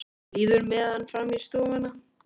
Líður með hann fram í stofuna.